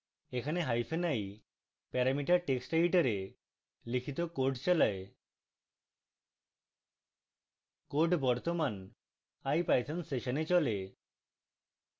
এখানে hyphen i parameter text editor লিখিত code চালায়